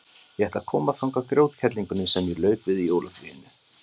Ég ætla að koma þangað grjótkerlingunni sem ég lauk við í jólafríinu.